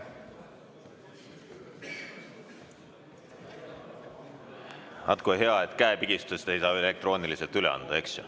Vaat kui hea, et käepigistust ei saa elektrooniliselt üle anda.